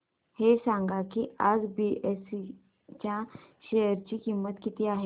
हे सांगा की आज बीएसई च्या शेअर ची किंमत किती आहे